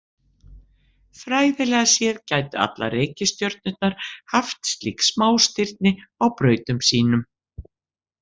Fræðilega séð gætu allar reikistjörnurnar haft slík smástirni á brautum sínum.